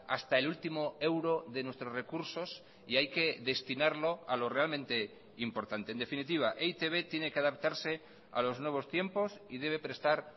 hasta el último euro de nuestros recursos y hay que destinarlo a lo realmente importante en definitiva e i te be tiene que adaptarse a los nuevos tiempos y debe prestar